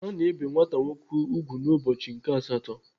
Ana ebe nwata nwoke ùgwù n'ụbọchị nke asatọ.